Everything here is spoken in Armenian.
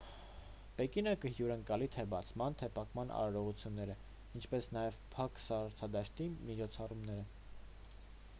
պեկինը կհյուրընկալի թե բացման թե փակման արարողությունները ինչպես նաև փակ սառցադաշտի միջոցառումները